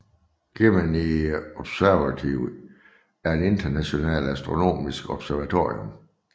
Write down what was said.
Gemini Observatory er et internationalt astronomisk observatorium